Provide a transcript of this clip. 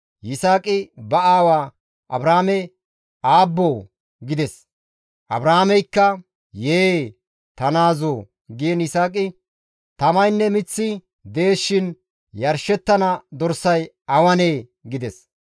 Yisaaqi ba aawa Abrahaame, «Aabboo!» gides. Abrahaameykka, «Yee! Ta naazoo!» giin Yisaaqi, «Tamaynne miththi dees shin yarshettana dorsay awanee?» gides.